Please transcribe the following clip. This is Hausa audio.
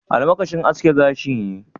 Almakashin aske gashi ne?